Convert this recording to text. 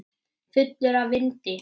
Fullur af vindi.